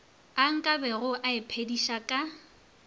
a nkabego a iphediša ka